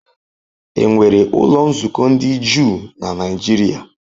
Enwere ụlọ nzukọ ndị Juu na Nigeria?